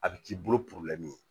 A bɛ k'i bolo ye